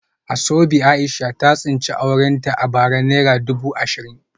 Asoebi Aisha ta tsinci aurenta a bara naira dubu ashirin